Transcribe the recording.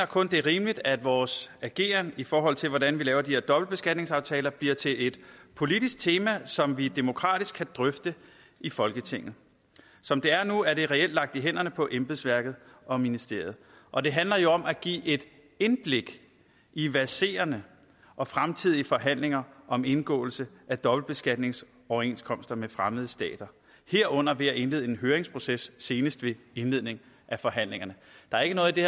kun er rimeligt at vores ageren i forhold til hvordan vi laver de her dobbeltbeskatningsaftaler bliver til et politisk tema som vi demokratisk kan drøfte i folketinget som det er nu er det reelt lagt i hænderne på embedsværket og ministeriet og det handler jo om at give et indblik i verserende og fremtidige forhandlinger om indgåelse af dobbeltbeskatningsoverenskomster med fremmede stater herunder ved at indlede en høringsproces senest ved indledningen af forhandlingerne der er ikke noget i det